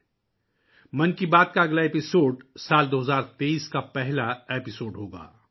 'من کی بات' کا اگلا ایپی سوڈ سال 2023 کا پہلا ایپی سوڈ ہو گا